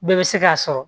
Bɛɛ bɛ se k'a sɔrɔ